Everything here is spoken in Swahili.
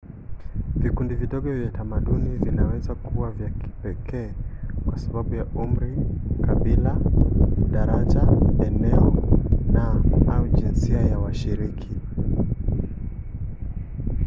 vikundi vidogo vya tamaduni vinaweza kuwa vya kipekee kwa sababu ya umri kabila daraja eneo na/au jinsia ya washiriki